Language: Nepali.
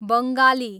बङ्गाली